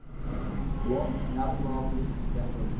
Loka kjarnaofni í Tékklandi